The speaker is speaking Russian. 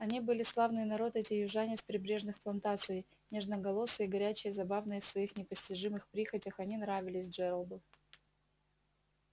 они были славный народ эти южане с прибрежных плантаций нежноголосые горячие забавные в своих непостижимых прихотях они нравились джералду